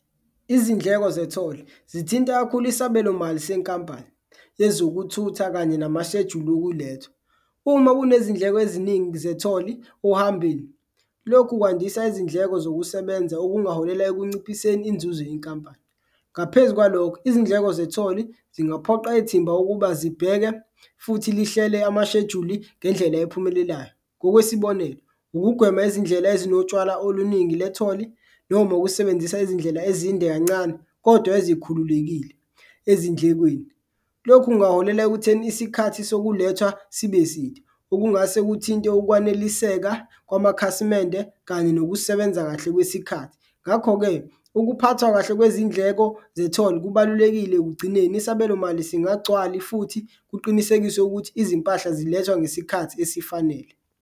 Izindleko zetholi zithinta kakhulu isabelomali senkampani yezokuthutha kanye amashejuli okulethwa, uma kunezindleko eziningi zetholi ohambeni, lokhu kwandisa izindleko zokusebenza okungaholela ekunciphiseni inzuzo yenkampani. Ngaphezu kwalokho, izindleko zetholi zingaphoqa ithimba ukuba zibheke futhi lihlele amashejuli ngendlela ephumelelayo, ngokwesibonelo, ukugwema izindlela ezinotshwala oluningi letholi noma ukusebenzisa izindlela ezinde kancane kodwa ezikhululekile ezindlekweni. Lokhu kungaholela ekutheni isikhathi sokulethwa sibe side okungase kuthinte ukwaneliseka kwamakhasimende kanye nokusebenza kahle kwesikhathi. Ngakho-ke, ukuphathwa kahle kwezindleko zetholi kubalulekile ekugcineni isabelomali singagcwali futhi kuqinisekiswe ukuthi izimpahla zilethwa ngesikhathi esifanele.